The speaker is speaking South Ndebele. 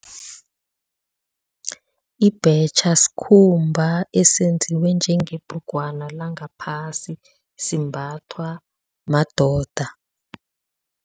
Ibhetjha sikhumba esenziwe njengebhrugwana langaphasi, simbathwa madoda.